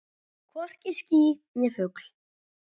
Hvorki ský né fugl.